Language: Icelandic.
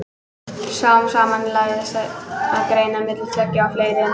Smám saman lagðist af að greina á milli tveggja og fleiri en tveggja.